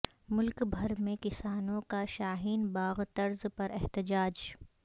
ملک بھر میں کسانوں کا شاہین باغ طرز پر احتجاج